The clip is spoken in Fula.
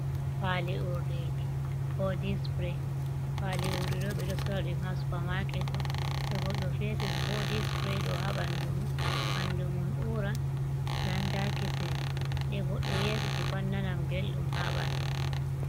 Paali urdiiji boodi supure ,paali urdii ɗo ɓe ɗo soora ɗi haa supa maket ɗo. To goɗɗo feesi boodi supure ɗo, haa ɓanndu mum, ɓanndu mum uuran nanta kisiri .Nde goɗɗo yesiti pat nanan belɗum haa ɓanndu.